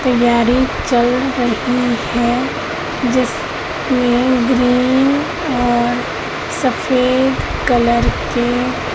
तैयारी चल रही है जिस में ग्रीन और सफेद कलर के--